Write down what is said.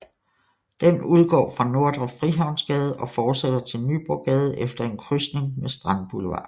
Den udgår fra Nordre Frihavnsgade og fortsætter til Nyborggade efter en krydsning med Strandboulevarden